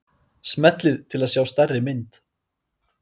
Smellið til að sjá stærri mynd.